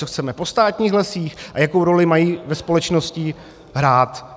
Co chceme po státních lesích a jakou roli mají ve společnosti hrát.